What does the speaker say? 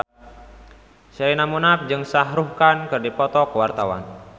Sherina Munaf jeung Shah Rukh Khan keur dipoto ku wartawan